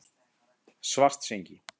Svartsengi